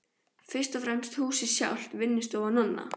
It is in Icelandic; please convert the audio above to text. Fyrst og fremst húsið sjálft, vinnustofu Nonna